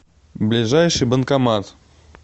ближайший банкомат